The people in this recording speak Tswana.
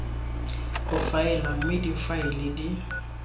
go faela mme difaele di